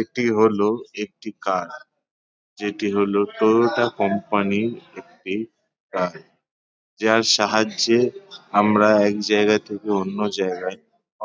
এটি হলো একটি কার । যেটি হলো টয়োটা কোম্পানির একটি কার | যার সাহায্যে আমরা এক জায়গা থেকে অন্য জায়গায়